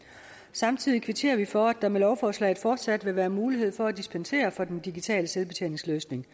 samtidig kvitterer vi for at der med lovforslaget fortsat vil være mulighed for at dispensere fra den digitale selvbetjeningsløsning